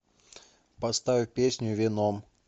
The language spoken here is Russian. поставь песню веном